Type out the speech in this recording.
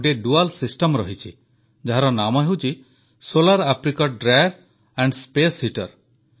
ଗୋଟିଏ ପ୍ରକ୍ରିୟା ରହିଛି ଯାହାର ନାମ ହେଉଛି solar apricot dryer and space heater